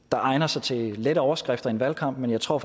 egner sig til lette overskrifter i en valgkamp men jeg tror